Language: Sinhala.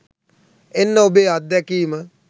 එන්න ඔබේ අත්දැකීම